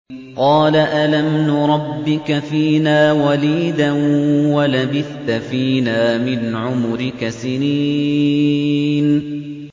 قَالَ أَلَمْ نُرَبِّكَ فِينَا وَلِيدًا وَلَبِثْتَ فِينَا مِنْ عُمُرِكَ سِنِينَ